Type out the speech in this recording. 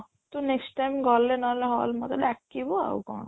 ତୁ next time ଗଲେ ନ ହେଲେ hall ମତେ ଡାକିବୁ ଆଉ କ'ଣ